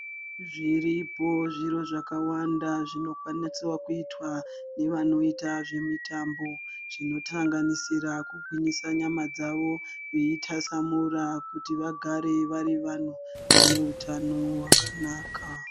Zviripo zviro zvakawanda zvinokwaniswa kuitwa nevanoita zvemitambo zvinotanganisira kugwinyisa nyama dzavo veitasamura kuti vagare vari vanhu vane hutano hwakanaka.